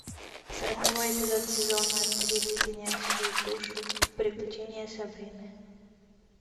сороковой эпизод сезона три леденящие душу приключения сабрины